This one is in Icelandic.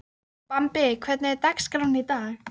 Bambi, hvernig er dagskráin í dag?